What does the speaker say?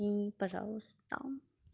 и пожалуйста